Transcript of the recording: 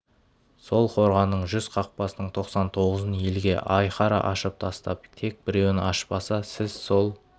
сол қорғанның жүз қақпасының тоқсан тоғызын елге айқара ашып тастап тек біреуін ашпаса сіз сол